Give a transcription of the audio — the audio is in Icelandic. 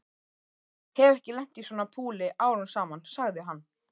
Hef ekki lent í svona púli árum saman sagði hann.